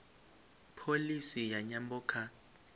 pholisi ya nyambo kha